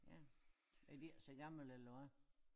Ja er de ikke så gamle eller hvad?